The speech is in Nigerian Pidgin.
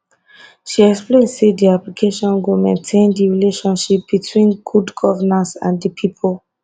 she explain say di application go maintain di relationship between good governance and di pipo